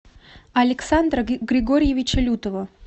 александра григорьевича лютова